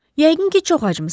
Yəqin ki, çox acmısan.